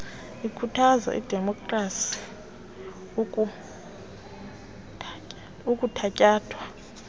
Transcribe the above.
ikhuthaza idemopkhrasi ekuthatyathwa